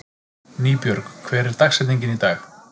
Nýbjörg, hver er dagsetningin í dag?